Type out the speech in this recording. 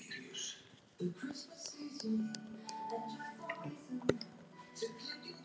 Smátt og smátt þreyttist hann á hlaupunum.